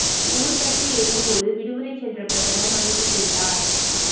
ஊர் பற்றி எரியும் போது விடுமுறை சென்ற பிரதமர் மன்னிப்பு கேட்டார்